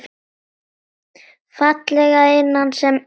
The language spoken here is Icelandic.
Fallega að innan sem utan.